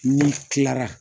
N'i kila la